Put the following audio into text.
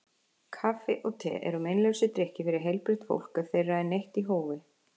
Kaffi og te eru meinlausir drykkir fyrir heilbrigt fólk ef þeirra er neytt í hófi.